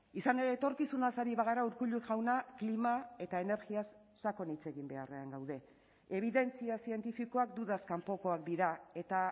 izan ere etorkizunaz ari bagara urkullu jauna klima eta energiaz sakon hitz egin beharrean gaude ebidentzia zientifikoak dudaz kanpokoak dira eta